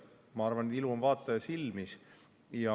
Ma arvan, et ilu on vaataja silmis.